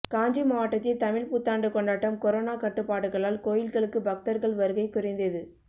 காஞ்சி மாவட்டத்தில் தமிழ் புத்தாண்டு கொண்டாட்டம் கொரோனா கட்டுப்பாடுகளால் கோயில்களுக்கு பக்தர்கள் வருகை குறைந்தது